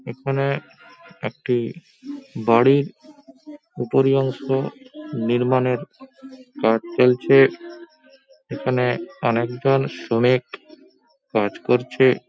এখানে একটি বাড়ির উপরিঅংশ নির্মাণের কাজ চলছে। এখানে অনেকজন শ্রমিক কাজ করছে।